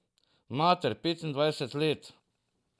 Mater, petindvajset let.